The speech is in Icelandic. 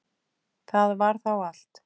Það var þá allt.